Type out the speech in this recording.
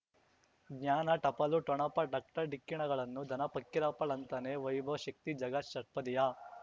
ಜ್ಞಾನ ಟಪಾಲು ಠೊಣಪ ಡಾಕ್ಟರ್ ಢಿಕ್ಕಿ ಣಗಳನು ಧನ ಫಕೀರಪ್ಪ ಳಂತಾನೆ ವೈಭವ್ ಶಕ್ತಿ ಝಗಾ ಷಟ್ಪದಿಯ